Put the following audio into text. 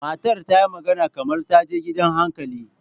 Matar ta yi magana kamar ta je gidan hankali.